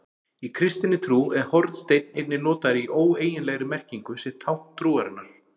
Í kristinni trú er hornsteinn einnig notaður í óeiginlegri merkingu sem tákn trúarinnar.